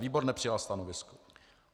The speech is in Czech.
Výbor nepřijal stanovisko.